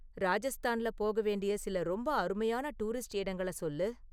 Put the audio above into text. ராஜஸ்தான்ல போக வேண்டிய சில ரொம்ப அருமையான டுரிஸ்ட் இடங்கள சொல்லு